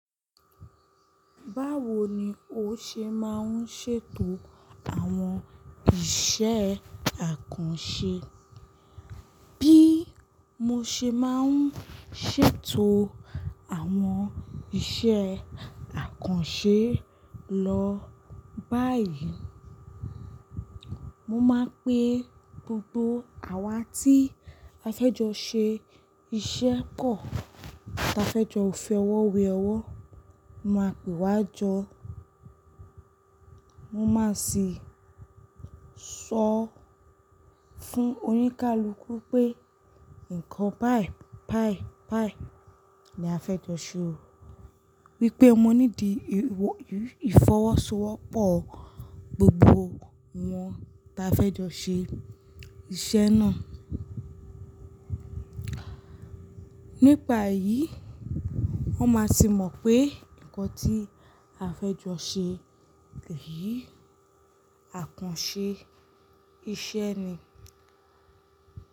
Báwo ni o ṣe máa ń ṣètò àwọn iṣẹ́ àkànṣe? Bí mo ṣe máa ń ṣètò àwọn iṣẹ́ àkànṣe lọ báyìí, mo máa pè gbogbo àwa tí a fẹ́ jọ ṣe iṣẹ́ pọ̀, tí a fẹ́ jọ fi ọwọ́ wé ọwọ́, máa pè wá jọ. Mo máa sì sọ fún oníkálukú pé nǹkan báì báì báì ni a fẹ́ jọ ṣe o. Wípé mo ní di ìfọwọ́sowọ́pọ̀ gbogbo wọn tí a fẹ́ jọ ṣe iṣẹ́ náà. Nípa èyí, wón máa sì mọ̀ pé nǹkan tí a fẹ́ jọ ṣe leyìí, àkànṣe iṣẹ́ ni.